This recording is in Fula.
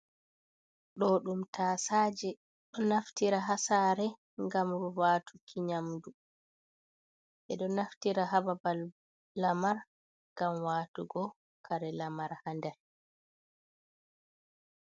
ɗo ɗum tasaje ɗo naftira hasara, gam rubatuki nyamdu ɓe ɗo naftira hababal lamar, ngam watugo kare lamar ha nder